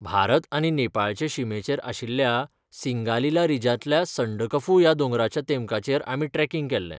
भारत आनी नेपाळचे शिमेचेर आशिल्ल्या सिंगालीला रिजांतल्या संडकफू ह्या दोंगराच्या तेमकाचेर आमी ट्रेकिंग केलें.